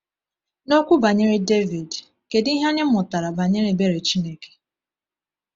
N’okwu banyere Devid, kedu ihe anyị mụtara banyere ebere Chineke?